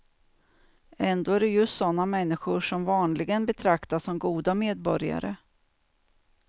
Ändå är det just sådana människor som vanligen betraktas som goda medborgare.